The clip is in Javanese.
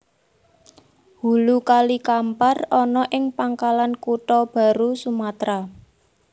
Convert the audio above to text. Hulu Kali Kampar ana ing Pangkalan Kutha Baru Sumatra